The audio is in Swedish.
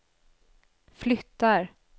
flyttar